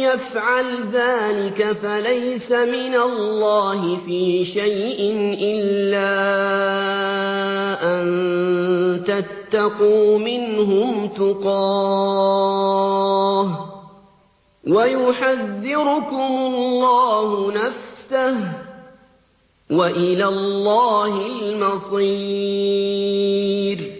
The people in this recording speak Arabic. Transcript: يَفْعَلْ ذَٰلِكَ فَلَيْسَ مِنَ اللَّهِ فِي شَيْءٍ إِلَّا أَن تَتَّقُوا مِنْهُمْ تُقَاةً ۗ وَيُحَذِّرُكُمُ اللَّهُ نَفْسَهُ ۗ وَإِلَى اللَّهِ الْمَصِيرُ